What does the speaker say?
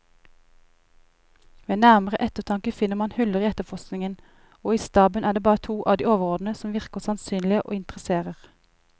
Ved nærmere eftertanke finner man huller i efterforskningen, og i staben er det bare to av de overordnede som virker sannsynlige og interesserer.